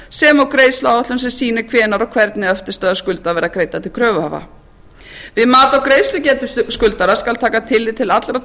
sem og greiðsluáætlun sem sýnir hvenær og hvernig eftirstöðvar skulda verða greiddar til kröfuhafa við mat á greiðslugetu skuldara skal taka tillit til allra